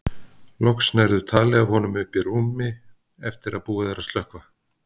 Loks nærðu tali af honum uppi í rúmi eftir að búið er að slökkva.